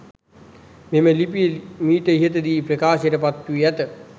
මෙම ලිපිය මීට ඉහත දී ප්‍රකාශයට පත් වී ඇත.